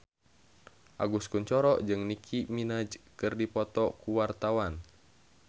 Agus Kuncoro jeung Nicky Minaj keur dipoto ku wartawan